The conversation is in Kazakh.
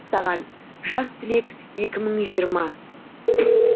саған жас түлек екі мың жиырма